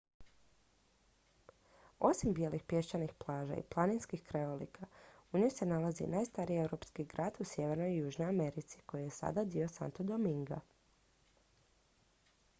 osim bijelih pješčanih plaža i planinskih krajolika u njoj se nalazi i najstariji europski grad u sjevernoj i južnoj americi koji je sada dio santo dominga